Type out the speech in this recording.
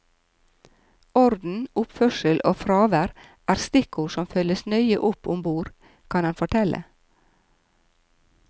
Orden, oppførsel og fravær er stikkord som følges nøye opp om bord, kan han fortelle.